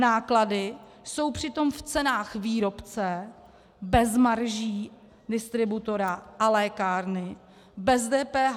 Náklady jsou přitom v cenách výrobce bez marží distributora a lékárny, bez DPH.